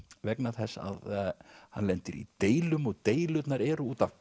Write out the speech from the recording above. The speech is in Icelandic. vegna þess að hann lendir í deilum og deilurnar eru út af